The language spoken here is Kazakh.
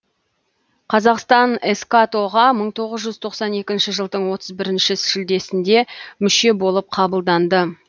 қазақстан эскато ға мың тоғыз жүз тоқсан екінші жылдың отыз бірінші шілдесінде мүше болып қабылданды